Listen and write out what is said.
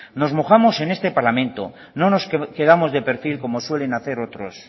nos mojamos en este parlamento no nos quedamos de perfil como suelen hacer otros